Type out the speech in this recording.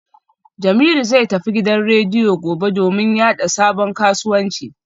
Jamiu zai tafi gidan rediyo gobe domin yada sabon kasuwancinsa